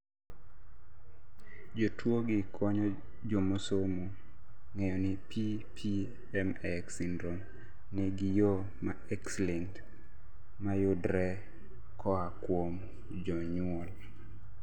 jotuwogi konyo jomosomo ng'eyoni PPM-X syndrome nigi yoo ma X-linked mar yudre koa kuom jonyuol